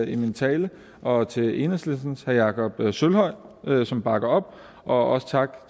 i min tale og til enhedslistens herre jakob sølvhøj som bakker op og også tak